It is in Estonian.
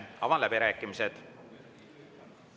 Avan läbirääkimised.